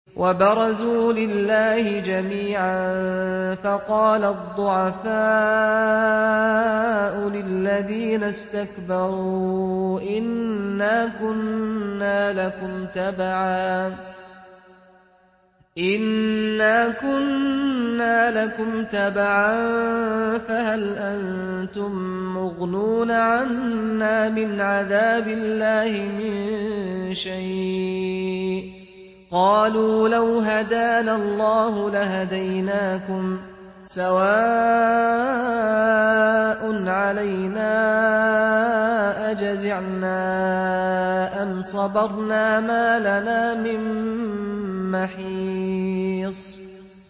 وَبَرَزُوا لِلَّهِ جَمِيعًا فَقَالَ الضُّعَفَاءُ لِلَّذِينَ اسْتَكْبَرُوا إِنَّا كُنَّا لَكُمْ تَبَعًا فَهَلْ أَنتُم مُّغْنُونَ عَنَّا مِنْ عَذَابِ اللَّهِ مِن شَيْءٍ ۚ قَالُوا لَوْ هَدَانَا اللَّهُ لَهَدَيْنَاكُمْ ۖ سَوَاءٌ عَلَيْنَا أَجَزِعْنَا أَمْ صَبَرْنَا مَا لَنَا مِن مَّحِيصٍ